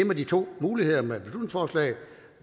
med de to muligheder